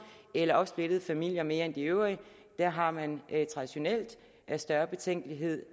eller opsplittede familier mere end de øvrige der har man traditionelt større betænkelighed